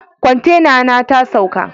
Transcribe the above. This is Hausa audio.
Kwantena na ta saukl.